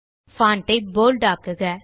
font ஐ bold ஆக்குக